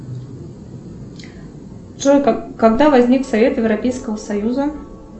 джой когда возник совет европейского союза